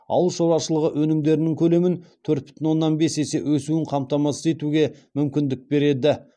ауыл шаруашылығы өнімдерінің көлемін төрт бүтін оннан бес есе өсуін қамтамасыз етуге мүмкіндік береді